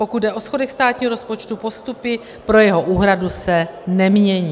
Pokud jde o schodek státního rozpočtu, postupy pro jeho úhradu se nemění.